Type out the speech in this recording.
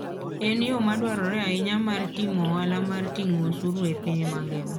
En yo madwarore ahinya mar timo ohala mar ting'o osuru e piny mangima.